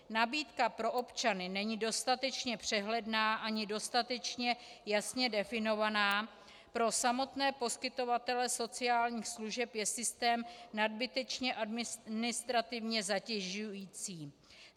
Nabídka pro občany není dostatečně přehledná ani dostatečně jasně definovaná, pro samotné poskytovatele sociálních služeb je systém nadbytečně administrativně zatěžující.